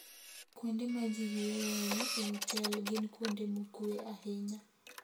Kuonde ma ji yueyoe e otel gin kuonde mokuwe ahinya.